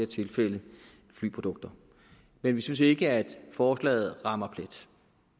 tilfælde flyprodukter men vi synes ikke at forslaget rammer plet